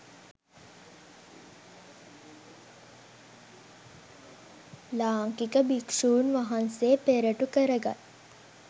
ලාංකික භික්ෂූන් වහන්සේ පෙරටු කරගත්